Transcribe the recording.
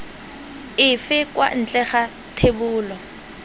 efe kwa ntle ga thebolo